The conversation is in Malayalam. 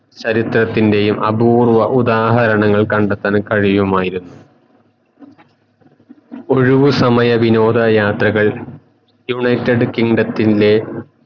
ചരിത്രണത്തിൻറെയും അപൂർവ ഉദാഹരണങ്ങൾ കണ്ടെത്തഹൻ കഴിയുമായിരുന്നു ഒഴിവു സമയ വിനോദ യാത്രകൾ യുണൈറ്റഡ് കിൻഡം ത്തിൻറെ